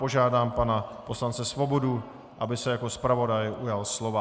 Požádám pana poslance Svobodu, aby se jako zpravodaj ujal slova.